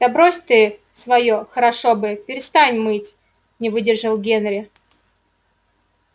да брось ты своё хорошо бы перестань мыть не выдержал генри